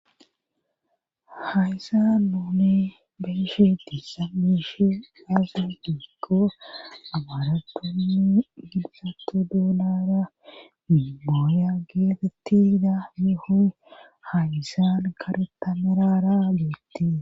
hayssa nuuni beeshi diissa biishi aaze diikko abaratonni gilsattu duulara mimooya geetettida mihoy hayisan garetamerara duitti